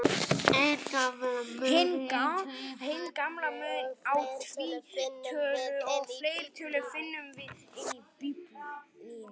Hinn gamla mun á tvítölu og fleirtölu finnum við enn í Biblíunni.